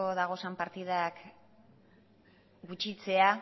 dauden partidak gutxitzea